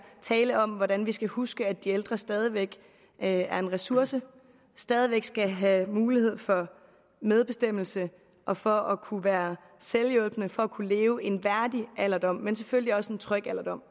tale om hvordan vi skal huske at de ældre stadig væk er en ressource stadig væk skal have mulighed for medbestemmelse og for at kunne være selvhjulpne og kunne leve en værdig alderdom men selvfølgelig også en tryg alderdom